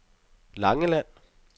Langeland